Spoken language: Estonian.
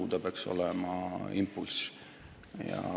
Euroraha peaks andma impulsi.